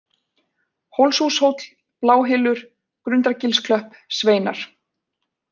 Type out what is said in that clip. Hólshúshóll, Bláhylur, Grundargilsklöpp, Sveinar